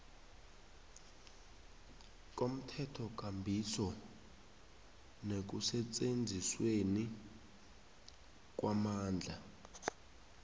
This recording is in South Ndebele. komthethokambiso nekusetjenzisweni kwamandla